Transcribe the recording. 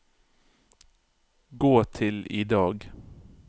gå til i dag